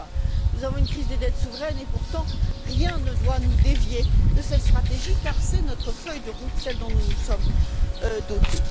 2020. Nous avons une crise des dettes souveraines et pourtant rien ne doit nous dévier de cette stratégie, car c'est notre feuille de route, celle dont nous nous sommes dotés.